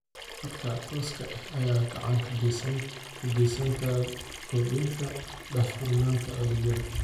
Adeegyada khadka tooska ah ayaa gacan ka geysta kordhinta daahfurnaanta adeegyada.